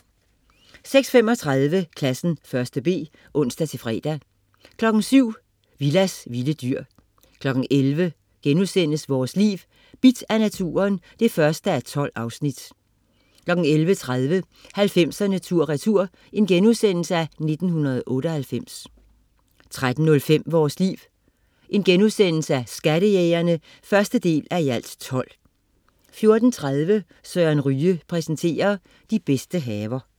06.35 Klassen 1.b (ons-fre) 07.00 Willas vilde dyr 11.00 Vores Liv: Bidt af naturen 1:12* 11.30 90'erne tur retur: 1998* 13.05 Vores Liv: Skattejægerne 1:12* 14.30 Søren Ryge præsenterer. De bedste haver